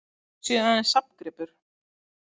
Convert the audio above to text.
Þau séu aðeins safngripur